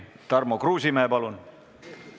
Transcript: Tarmo Kruusimäe, palun!